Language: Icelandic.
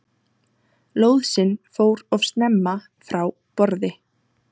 Lóðsinn fór of snemma frá borði